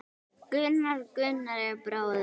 Gunnar, Gunnar er bróðir minn.